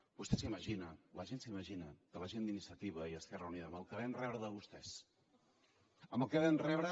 vostè s’imagina la gent s’imagina que la gent d’iniciativa i esquerra unida amb el que vam rebre de vostès amb el que vam rebre